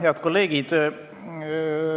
Head kolleegid!